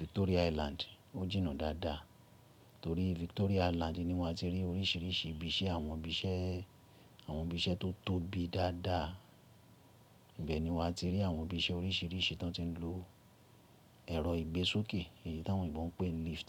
Victoria Island ó jìnnà dáadáa. Torí Victoria Island ni wà á ti rí oríṣìíríṣìí ibi iṣẹ́, àwọn ibi iṣẹ́ tó tóbi dáadáa. Ibẹ̀ ni wà á ti rí àwọn ibi iṣẹ́ oríṣìíríṣìí ti won ti ń lo ẹ̀rọ ìgbésókè, èyí tí àwọn òyìnbó ń pè ni lift.